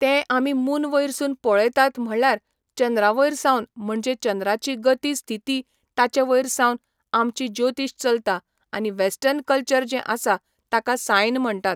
तें आमी मून वयरसून पळयतात म्हणल्यार चंद्रा वयर सावन म्हणजें चंद्राची गती स्थिती ताचे वयर सावन आमची ज्योतीश चलता आनी वॅस्टर्न कल्चर जें आसा ताका सायन म्हणटात.